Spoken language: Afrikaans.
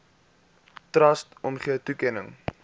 trust omgee toekenning